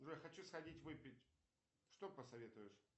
джой хочу сходить выпить что посоветуешь